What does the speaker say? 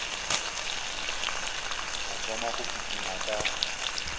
a thoma go kitima ka